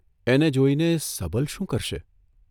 એને જોઇને સબલ શું કરશે?